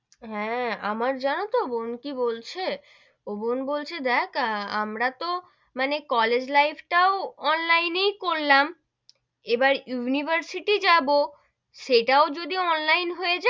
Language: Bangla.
হেঁ, আমার জানো তো বোন কি বলছে, ও বোন বলছে দেখ আমরা তো মানে college life টাও online এই করলাম, এবার university যাবো, সেটাও যদি online হয়ে,